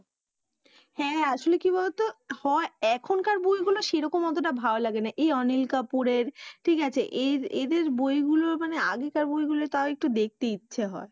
হ্যা আসলে কি বলো তো হয় এখনকার বইগুলো সেরকম অতোটা ভাল লাগে না এই অনিল কাপুরের ঠিক আছে এই এদের বইগুলো মানে আগেকার বইগুলো তাও একটু দেখতে ইচ্ছে হয়।